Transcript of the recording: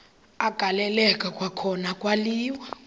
agaleleka kwakhona kwaliwa